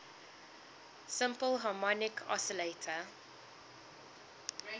simple harmonic oscillator